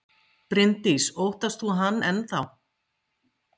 Bryndís: Óttast þú hann enn þá?